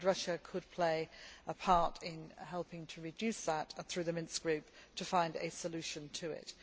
Russia could play a part in helping to reduce that and through the Minsk Group to find a solution to it.